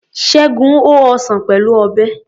Ṣẹ́gun ho ọsàn Pẹ̀lú Ọ̀bẹ.